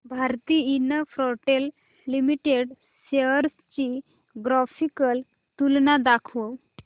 Bharti Infratel limited shares ची graphical तुलना दाखव